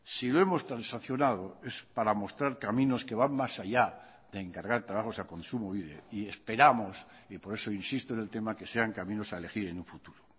si lo hemos transaccionado es para mostrar caminos que van más allá de encargar trabajos a kontsumobide y esperamos y por eso insisto en el tema que sean caminos a elegir en un futuro